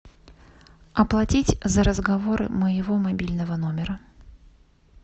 оплатить за разговоры моего мобильного номера